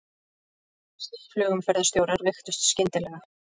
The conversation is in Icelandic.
Spænskir flugumferðarstjórar veiktust skyndilega